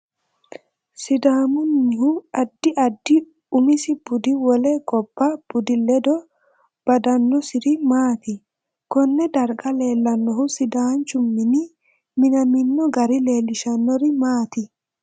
Sidaamunihu addi addi umisi budi wole gobba budi leddo badanosiri maati konne darga leelanohu sidaanchu mini minamino gari leelishanori maati